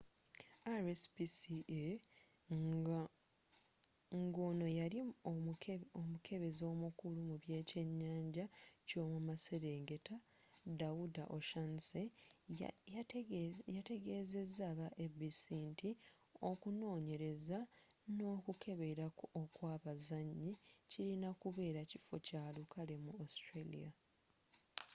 rspca ngono yeyali omukebezi omukulu mubekyenyanja kyomumaserengeta dawuda o'shannessy yategezeza aba abc nti okunonyereza nokukebera okwabazanyi kirina kubeera kifo kyalukale mu australia